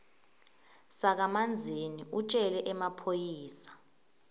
sakamanzini utjele emaphoyisa